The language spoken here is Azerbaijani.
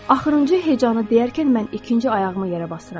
Axırıncı hecanı deyərkən mən ikinci ayağımı yerə basıram.